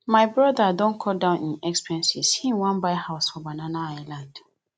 my broda don cut down im expenses im wan buy house for banana island